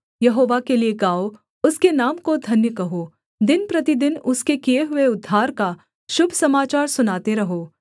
यहोवा के लिये गाओ उसके नाम को धन्य कहो दिन प्रतिदिन उसके किए हुए उद्धार का शुभ समाचार सुनाते रहो